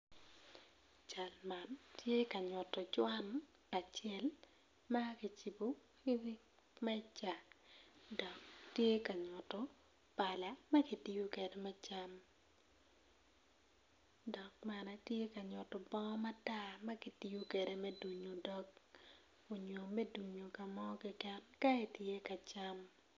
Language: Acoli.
Cal man tye ka nyuto cwan acel ma kicibo i wi meja dok tye ka nyuto palal ma kitiyo kwede me cam dok tye ka nyuto bongo matar ma kitiyo kwede me dunyo dog onyo me dunyo ka mo kekeken ka itye ka cam.